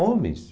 Homens.